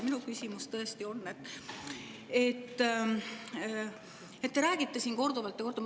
Minu küsimus on selle kohta, et te räägite siin korduvalt ja korduvalt …